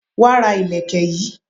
Wá ra Ìlẹ̀kẹ̀ yi